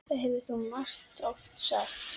Það hefur þú margoft sagt.